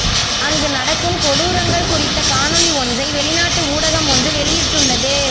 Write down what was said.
அங்கு நடக்கும் கொடூரங்கள் குறித்த காணொளி ஒன்றை வெளிநாட்டு ஊடகம் ஒன்று வெளியிட்டுள்ளது